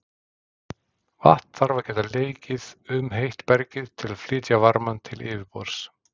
Vatn þarf að geta leikið um heitt bergið til að flytja varmann til yfirborðs.